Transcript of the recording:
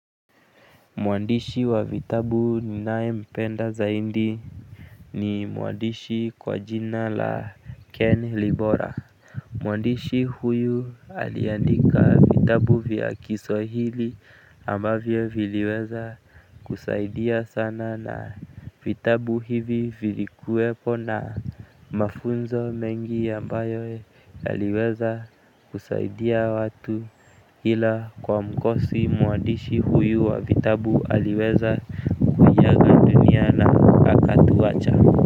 Mwandishi wa vitabu ninaye mpenda zaidi ni mwandishi kwa jina la Ken Libora. Mwandishi huyu aliandika vitabu vya Kiswahili ambavyo viliweza kusaidia sana na vitabu hivi vilikuwepo na mafunzo mengi ambayo yaliweza kusaidia watu ila kwa mikosi mwandishi huyu wa vitabu aliweza kuya ganana na aka tuwacha.